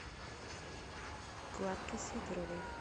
кларке сидоровой